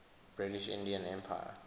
british indian empire